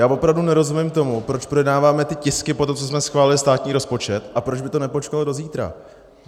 Já opravdu nerozumím tomu, proč projednáváme ty tisky po tom, co jsme schválili státní rozpočet, a proč by to nepočkalo do zítra.